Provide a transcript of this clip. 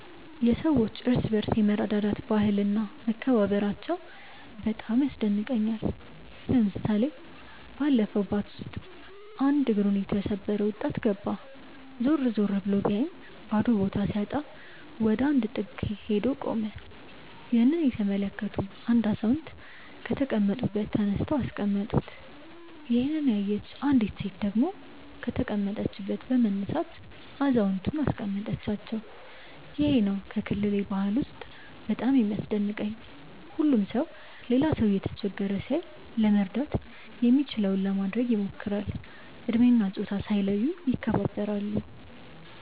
የሰዎች እርስ በርስ የመረዳዳት ባህል እና መከባበራቸው በጣም ያስደንቀኛል። ለምሳሌ ባለፈው ባስ ውስጥ አንድ እግሩን የተሰበረ ወጣት ገባ። ዞር ዞር ብሎ ቢያይም ባዶ ቦታ ሲያጣ ወደ አንድ ጥግ ሄዶ ቆመ። ይህንን የተመለከቱ አንድ አዛውንት ከተቀመጡበት ተነስተው አስቀመጡት። ይሄንን ያየች አንዲት ሴት ደግሞ ከተቀመጠችበት በመነሳት አዛውየንቱን አስቀመጠቻቸው። ይሄ ነው ከክልሌ ባህል በጣም የሚያስደንቀኝ። ሁሉም ሰው ሌላ ሰው እየተቸገረ ሲያይ ለመርዳት የሚችለውን ለማድረግ ይሞክራል። እድሜ እና ፆታ ሳይለዩ ይከባበራሉ።